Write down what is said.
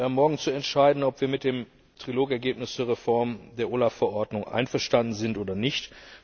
Wir haben morgen zu entscheiden, ob wir mit dem Trilog Ergebnis zur Reform der OLAF Verordnung einverstanden sind oder nicht.